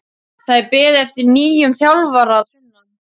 Það er beðið eftir nýjum þjálfara að sunnan.